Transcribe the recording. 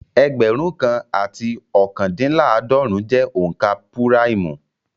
Ẹgbẹ̀rún kan àti ookandinlaadorun jẹ́ onka púráìmù